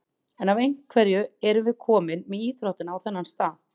En af hverju erum við komin með íþróttina á þennan stað??